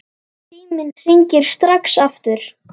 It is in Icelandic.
Síminn hringir strax aftur.